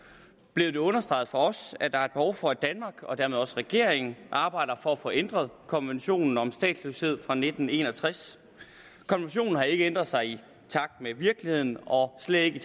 blev det understreget for os at der er behov for at danmark og dermed regeringen arbejder for at få ændret konventionen om statsløshed fra nitten en og tres konventionen har ikke ændret sig i takt med virkeligheden og slet ikke i